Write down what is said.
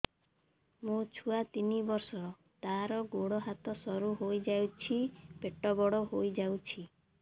ମୋ ଛୁଆ ତିନି ବର୍ଷ ତାର ଗୋଡ ହାତ ସରୁ ହୋଇଯାଉଛି ପେଟ ବଡ ହୋଇ ଯାଉଛି